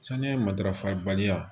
Saniya matarafa baliya